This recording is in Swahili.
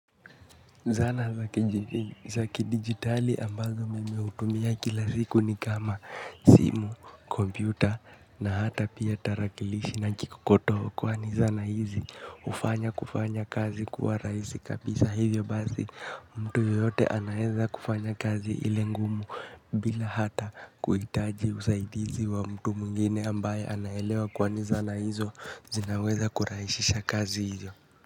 Zana za kidigitali ambazo nimeutumia kila siku ni kama simu, kompyuta na hata pia tarakilishi na kikokotoo kwani zana hizi ufanya kufanya kazi kuwa raisi kabisa hivyo basi mtu yoyote anaeza kufanya kazi ile ngumu bila hata kuitaji usaidizi wa mtu mwingine ambaye anaelewa kwani zana hizo zinaweza kuraishisha kazi hizo.